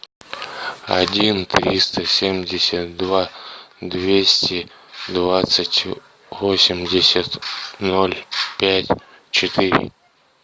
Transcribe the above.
один триста семьдесят два двести двадцать восемьдесят ноль пять четыре